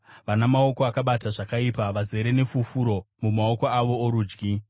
vana maoko akabata zvakaipa, vazere nefufuro mumaoko avo orudyi.